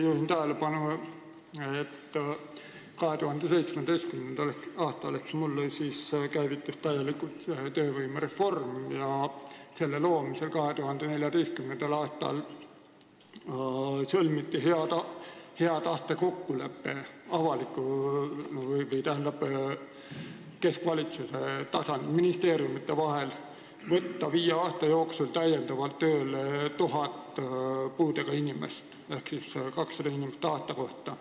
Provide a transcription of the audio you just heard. Juhin tähelepanu, et 2017. aastal ehk mullu käivitus täielikult töövõimereform, mille kava loomisel 2014. aastal sõlmiti hea tahte kokkulepe, et keskvalitsuse tasandil ehk siis ministeeriumides võetakse viie aasta jooksul tööle 1000 puudega inimest ehk siis 200 inimest aasta kohta.